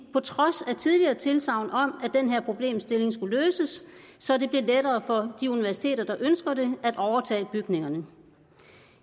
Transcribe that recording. på trods af tidligere tilsagn om at den her problemstilling skulle løses så det bliver lettere for de universiteter der ønsker det at overtage bygningerne